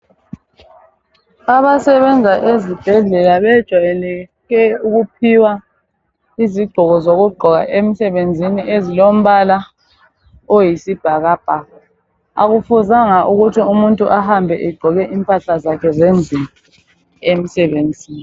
Abasebenza ezibhedlela bajayele ukuphiwa izigqoko zokugqoka emsebenzini ezilompala oyisibhakabhaka. Akufuzanga ukuthi umuntu ahambe egqoke impahla zakhe zendlini emsebenzini.